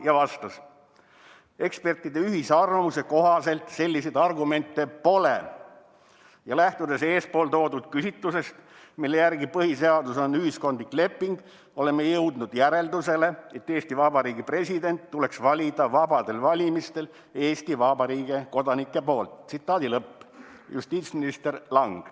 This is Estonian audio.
Ja vastas: "Ekspertide ühise arvamuse kohaselt selliseid argumente pole ja lähtudes eelpool toodud küsitlusest, mille järgi põhiseadus on ühiskondlik leping, oleme jõudnud järeldusele, et Eesti Vabariigi president tuleks valida vabadel valimistel Eesti Vabariigi kodanike poolt.